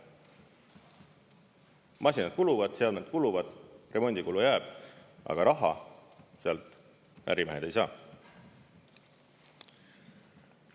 Masinad kuluvad, seadmed kuluvad, remondikulu jääb, aga raha sealt ärimehed ei saa.